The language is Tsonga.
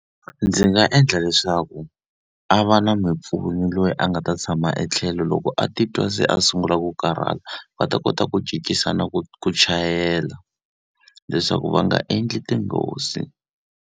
Ndzi nga endla leswaku a va na mumpfuni loyi a nga ta tshama etlhelo loko a titwa se a sungula ku karhala, va ta kota ku cincisana ku ku chayela. Leswaku va nga endli tinghozi.